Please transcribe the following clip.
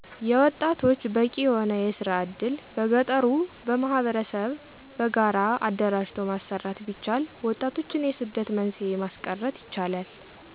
የወጣቶች በቂ የሆነ የስራ እድል በገጠሩ ማህበረሰብ በጋራ አደራጅቶ ማሰራት ቢቻል ወጣቶችን የስደት መንስኤ ማስቀርት ይቻላል።